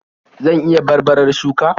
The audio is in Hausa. Zan iya barbarar shuka?